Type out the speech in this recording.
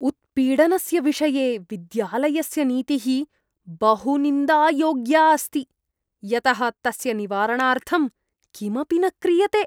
उत्पीडनस्य विषये विद्यालयस्य नीतिः बहु निन्दायोग्या अस्ति, यतः तस्य निवारणार्थं किमपि न क्रियते।